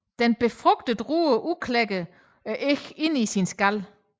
Den befrugtede rur udklækker æggene inde i sin skal